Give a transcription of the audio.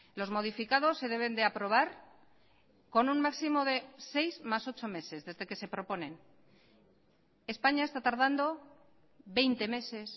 los modificados se deben de aprobar con un máximo de seis más ocho meses desde que se proponen españa está tardando veinte meses